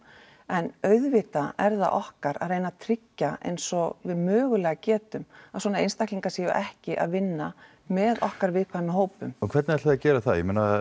en auðvitað er það okkar að reyna að tryggja eins og við mögulega getum að svona einstaklingar séu ekki að vinna með okkar viðkvæmu hópum hvernig ætliði að gera það